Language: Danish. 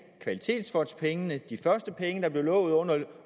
at kvalitetsfondspengene de første penge der blev lovet